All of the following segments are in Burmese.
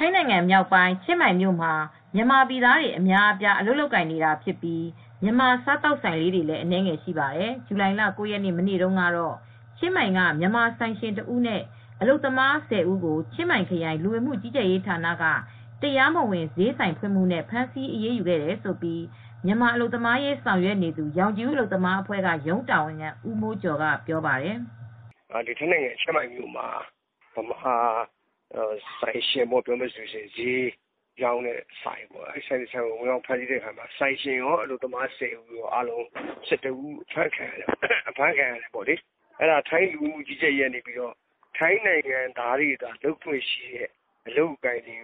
ိုင်းနိုင်ငံမြောက်ပိုင်း ချင်းမိုင်မြို့မှာ မြန်မာပြည်သားတွေ အများအပြား အလုပ်လုပ်ကိုင်နေတာဖြစ်ပြီး မြန်မာ စားသောက်ဆိုင်လေးတွေလည်း အနည်းငယ်ရှိပါတယ်။ ဇူလိုင်လ ၉ ရက် မနေ့တုန်းကတော့ ချင်းမိုင်က မြန်မာဆိုင်ရှင်တဦးနဲ့ အလုပ်သမား ၁၀ ဦးကို ချင်းမိုင်ခရိုင် လူဝင်မှုကြီးကြပ်ရေးဌာနက တရားမဝင် ဈေးဆိုင်ဖွင့်မှုနဲ့ ဖမ်းဆီးအရေးယူခဲ့တယ်လို့ မြန်မာအလုပ်သမားရေး ဆောင်ရွက်နေသူ ရောင်ခြည်ဦးအလုပ်သမားအဖွဲ့က ရုံးတာဝန်ခံ ဦးမိုးကျော်က ပြောပါတယ်။ "ထိုင်းနိုင်ငံ ချင်းမိုင်မြို့မှာ မြန်မာဆိုင်ရှင် ဈေးရောင်းတဲ့ဆိုင်ကို ဝင်ရောက် ဖမ်းဆီးအခါမှာ ဆိုင်ရှင်ကော အလုပ်သမား ၁၀ ဦး အားလုံးပေါင်း ၁၁ ဦး ဖမ်းဆီးခံရတယ်။ ထိုင်း လူဝင်မှုကြီးကြပ်ရေးကနေ ထိုင်းနိုင်ငံသားတွေပဲ လုပ်ခွင့်ရတဲ့အလုပ်တွေကို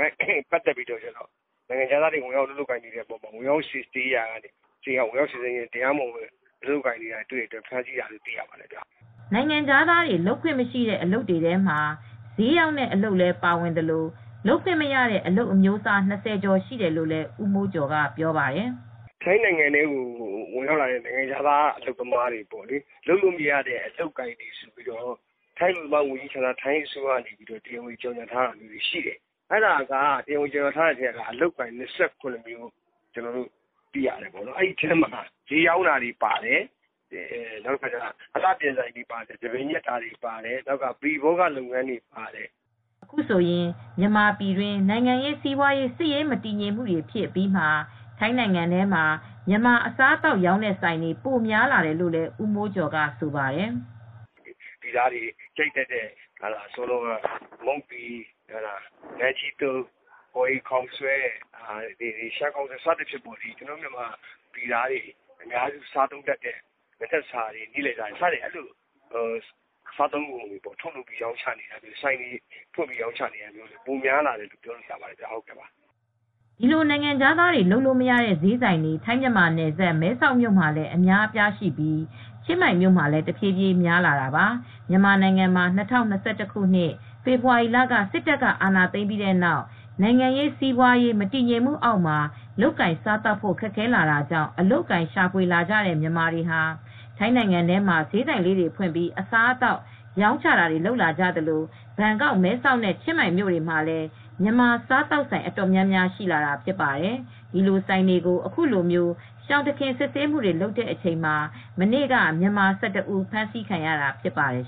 ဝင်ရောက်စစ်ဆေးတဲ့အခါမှာ တရားမဝင် လုပ်နေတာကို တွေ့လို့ ဖမ်းဆီးတာလို့ သိရပါတယ်။" နိုင်ငံခြားသားတွေ လုပ်ခွင့်မရှိတဲ့ အလုပ်တွေထဲမှာ ဈေးရောင်းတဲ့အလုပ်လည်း ပါဝင်သလို၊ လုပ်ခွင့်မရတဲ့ အလုပ်အမျိုးအစား ၂၀ ကျော်ရှိတယ်လို့လည်း ဦးမိုးကျော်က ပြောပါတယ်။ "ထိုင်းနိုင်ငံထဲကို ဝင်ရောက်လာတဲ့ နိုင်ငံခြားသားတွေ လုပ်လို့ မရတဲ့ အလုပ်အကိုင်တွေကို ထိုင်းအလုပ်သမား ဝန်ကြီးဌာနက တရားဝင် ကြေညာထားတာ ရှိတယ်။ အလုပ်အကိုင် ၂၇ မျိုးရှိတယ်။ ဒီထဲမှာ ဈေးရောင်းတဲ့ဆိုင်တွေပါတယ်။ ဆံပင်ညှပ်ဆိုင်တွေ ပါတယ်။ ပရိဘောဂလုပ်ငန်းတွေ ပါတယ်။" အခုဆိုရင် မြန်မာပြည်တွင်း နိုင်ငံရေး စီးပွားရေး စစ်ရေးမတည်ငြိမ်မှုတွေ ဖြစ်အပြီးမှာ ထိုင်းနိုင်ငံထဲမှာ မြန်မာအစားအသောက် ရောင်းတဲ့ဆိုင်တွေ ပိုများလာတယ်လို့လည်း ဦးမိုးကျော်ကဆိုပါတယ်။ "မြန်မာပြည်သားတွေ ကြိုက်တတ်တဲ့ မုန့်တီ၊ နန်းကြီးသုတ်၊ ကော်ရည်ခေါက်ဆွဲ၊ ရှမ်းခေါက်ဆွဲ ကျနော်တို့ မြန်မာတွေ စားတတ်တဲ့ အစားအစားတွေကို ထုတ်လုပ်ပြီး ရောင်းချတာ၊ ဆိုင်တွေဖွင့်ပြီး ရောင်းချတာတာတွေ ပိုမိုရောင်းချ လာတာကို တွေ့ရပါတယ်။" ဒီလိုနိုင်ငံခြားသားတွေ လုပ်လို့မရတဲ့ ဈေးဆိုင်တွေ ထိုင်းမြန်မာနယ်စပ် မဲဆောက်မြို့မှာလည်း အများအပြားရှိပြီး ချင်းမိုင်မြို့မှာလည်း တဖြည်းဖြည်း များလာတာပါ။ မြန်မာနိုင်ငံမှာ ၂၀၂၁ ဖေဖော်ဝါရီလ က စစ်တပ် အာဏာသိမ်းပြီးတဲ့နောက် နိုင်ငံရေး စီးပွားရေး မတည်ငြိမ်မှုအောက်မှာ လုပ်ကိုင်စားသောက်ဖို့ ခက်ခဲလာတာကြောင့် အလုပ်အကိုင်ရှာဖွေလာကြတဲ့ မြန်မာတွေဟာ ထိုင်းနိုင်ငံထဲမှာ ဈေးဆိုင်လေးတွေ ဖွင့်ပြီး အစားအသောက် ရောင်းချတာတွေ လုပ်လာကြသလို ဘန်ကောက်၊ မဲဆောက် နဲ့ ချင်းမိုင်မြို့တွေမှာ မြန်မာစားသောက်ဆိုင် အတော်များများ ရှိလာတာ ဖြစ်ပါတယ်။ ဒီလိုဆိုင်တွေကို အခုလို ရှောင်တခင် စစ်ဆေးမှုတွေ လုပ်တဲ့အချိန်မှာ မနေ့က မြန်မာ ၁၁ ဦး ဖမ်းဆီးခံခဲ့ရတာ ဖြစ်ပါတယ်